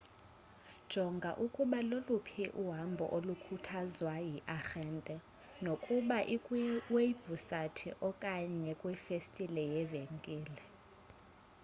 jonga ukuba loluphi uhambo olukhuthazwa yiarhente nokuba ikwiwebhusayithi okanye kwifestile yevenkile